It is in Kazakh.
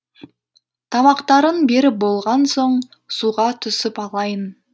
тамақтарын беріп болған соң суға түсіп алайын